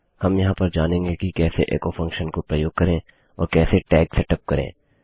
हम यहाँ पर जानेंगे कि कैसे एचो फंक्शन को प्रयोग करें और कैसे टैग्स सेट अप करें